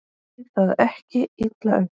Takið það ekki illa upp.